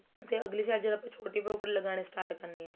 ਤੇ ਅਗਲੀ side ਜਦੋ ਆਪਾਂ ਛੋਟੀ pocket ਲਗਾਣੀ start ਕਰਨੀ ਏ